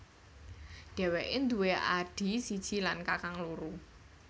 Dheweke nduwe adhi siji lan kakang loro